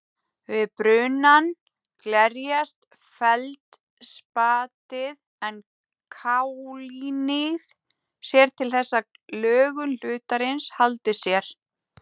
Við brunann glerjast feldspatið en kaólínið sér til þess að lögun hlutarins haldi sér.